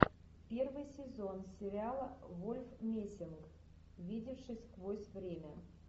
первый сезон сериала вольф мессинг видевший сквозь время